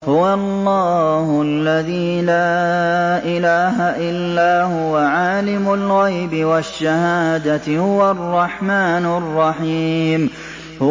هُوَ اللَّهُ الَّذِي لَا إِلَٰهَ إِلَّا هُوَ ۖ عَالِمُ الْغَيْبِ وَالشَّهَادَةِ ۖ هُوَ الرَّحْمَٰنُ الرَّحِيمُ